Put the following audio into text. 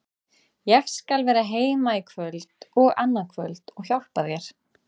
Ég skal vera heima í kvöld og annað kvöld og hjálpa þér.